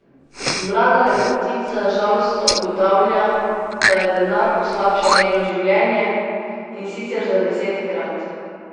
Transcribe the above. Mlada lepotica žalostno ugotavlja, da je denar poslabšal njeno življenje, in sicer za desetkrat.